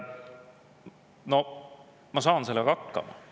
Noh, ma saan sellega hakkama.